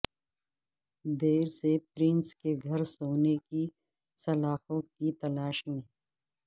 دیر سے پرنس کے گھر سونے کی سلاخوں کی تلاش میں